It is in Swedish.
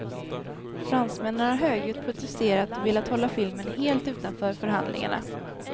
Fransmännen har högljutt protesterat och velat hålla filmen helt utanför förhandlingarna.